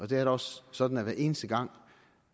da også sådan at hver eneste gang